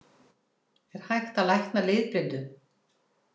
Er hægt að lækna litblindu?